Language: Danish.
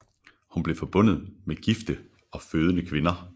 Hun blev forbundet med gifte og fødende kvinder